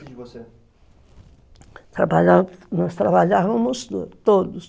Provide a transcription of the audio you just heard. E você? Nós trabalhávamos todos.